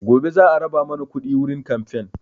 Gobe za a raba mana kuɗi wurin kamfen